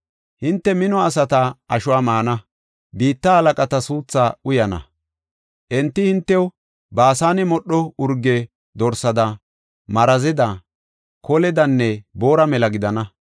Hinte mino asata ashuwa maana; biitta halaqata suuthaa uyana. Enti hintew Baasane modho urge dorsada, marazeda, koledanne boora mela gidana.